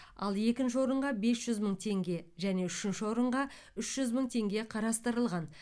ал екінші орынға бес жүз мың теңге және үшінші орынға үш жүз мың теңге қарастырылған